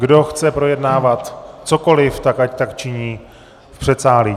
Kdo chce projednávat cokoli, tak ať tak činí v předsálí.